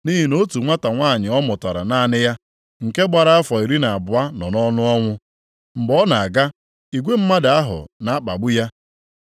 Nʼihi na otu nwata nwanyị ọ mụtara naanị ya, nke gbara afọ iri na abụọ nọ nʼọnụ ọnwụ. Mgbe ọ na-aga, igwe mmadụ ahụ na-akpagbu ya.